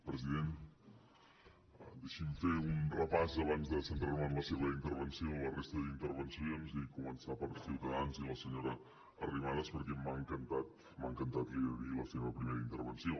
president deixi’m fer un repàs abans de centrar me en la seva intervenció de la resta d’intervencions i començar per ciutadans i la senyora arrimadas perquè m’ha encantat m’ha encantat l’hi he de dir la seva primera intervenció